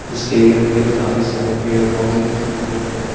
इसके इर्द गिर्द काफी सारे पेड़ पौधे दिखाई दे रहे हैं।